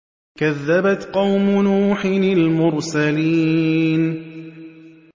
كَذَّبَتْ قَوْمُ نُوحٍ الْمُرْسَلِينَ